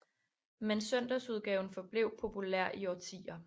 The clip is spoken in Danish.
Men søndagsudgaven forblev populær i årtier